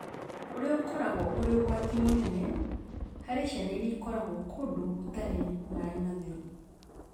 ũrĩa ũkoragwo ũrĩ ũgwati mũnene harĩ ciana iria ikoragwo kũndũ gũtarĩ maĩ matheru.